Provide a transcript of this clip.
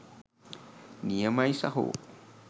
නියමයි සහෝ